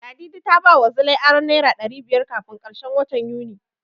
Ladidi ta bawa Zilai aron Naira ɗari biyar kafin karshen watan Yuni.